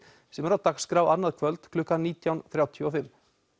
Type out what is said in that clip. sem er á dagskrá annað kvöld klukkan nítján þrjátíu og fimm